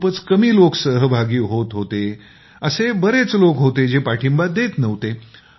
खूपच कमी लोकं सहभागी होत होते असे बरेच लोकं होते जे पाठिंबा देत नव्हते